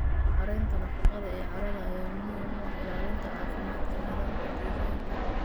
Maareynta nafaqada ee carrada ayaa muhiim u ah ilaalinta caafimaadka nidaamka deegaanka.